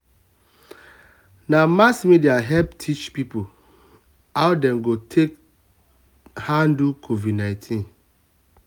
na mass um media help teach people how um dem go um take handle covid19.